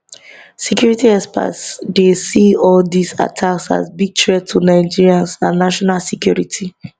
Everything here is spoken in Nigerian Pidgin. security experts dey see all dis attacks as big threat to nigerians and national security